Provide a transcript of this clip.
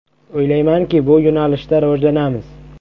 O‘ylaymanki, bu yo‘nalishda rivojlanamiz”.